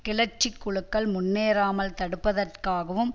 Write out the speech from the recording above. கிளர்ச்சி குழுக்கள் முன்னேறாமல் தடுப்பதற்காகவும்